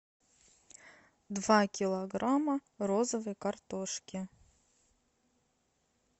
два килограмма розовой картошки